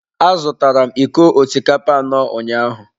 Azụtara m iko osikapa anọ ụnyaahụ.